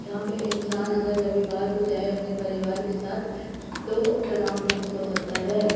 यहां पे इंसान अगर रविवार को जाए अपने परिवार के साथ तो तनाव मुक्त हो सकता है।